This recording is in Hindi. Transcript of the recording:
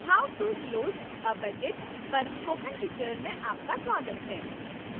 how to close a budget पर spoken tutorial में आपका स्वागत है